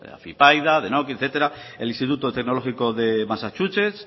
afypaida denokinn etcétera el instituto tecnológico de massachusetts